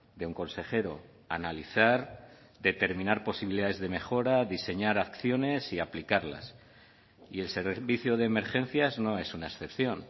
de un consejero analizar determinar posibilidades de mejora diseñar acciones y aplicarlas y el servicio de emergencias no es una excepción